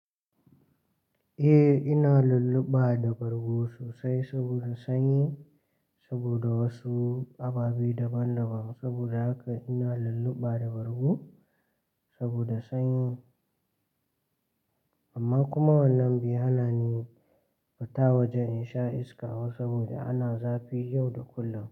Eh, ina lulluɓa da bargo sosai sabida sanyi sabida wasu ababe daban-daban. Sabida haka ina lulluɓa da bargo sabida sanyi. Amma kuma wannan bai hana ni fita waje in sha iska ba sabida ana zafi yau da kullum.